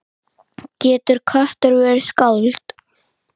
Getur köttur verið skáld?